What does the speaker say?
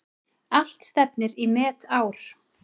Allt stefnir í metár.